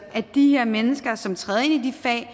at de her mennesker som træder ind i de fag